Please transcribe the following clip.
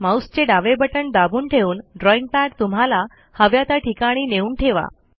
माऊसचे डावे बटण दाबून ठेवून ड्रॉईंग पॅड तुम्हाला हव्या त्या ठिकाणी नेऊन ठेवा